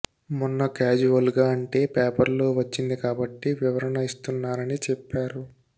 మొన్న క్యాజువల్గా అంటే పేపర్లలో వచ్చింది కాబట్టి వివరణ ఇస్తున్నానని చెప్పారు